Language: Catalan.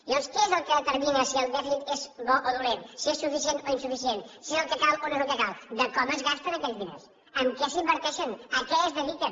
llavors què és el que determina si el dèficit és bo o dolent si és suficient o insuficient si és el que cal o no és el que cal com es gasten aquells diners en què s’inverteixen a què es dediquen